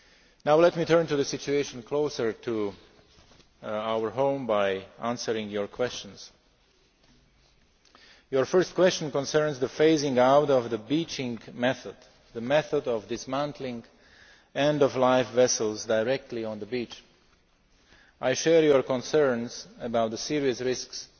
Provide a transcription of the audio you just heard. Now, let me turn to the situation closer to home by answering your questions. Your first question concerns the phasing out of the beaching method the method of dismantling end of life vessels directly on the beach. I share your concerns about the serious risks